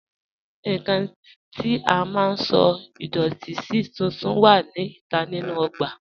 Nnkàn tí à má sọ̀ idọ̀tì sí tùntún wà ní ìtà nínu ogbà